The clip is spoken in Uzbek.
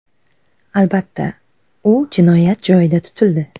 Albatta, u jinoyat joyida tutildi.